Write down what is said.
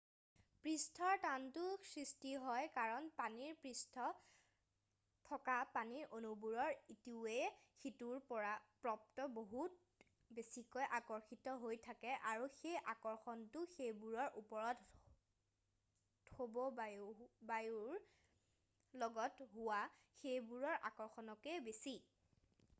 পৃষ্ঠৰ টানটো সৃষ্টি হয় কাৰণ পানীৰ পৃষ্ঠত থকা পানীৰ অনুবোৰ ইটোৱে সিটোৰ প্ৰতি বহুত বেছিকৈ আকৰ্ষিত হৈ থাকে আৰু সেই আকৰ্ষণটো সেইবোৰৰ ওপৰত থকা বায়ুৰ অনুৰ লগত হোৱা সেইবোৰৰ আকৰ্ষণতকৈ বেছি